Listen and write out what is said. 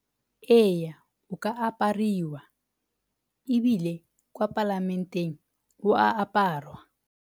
Ee, o ka apariwa, ebile kwa palamenteng o a aparwa.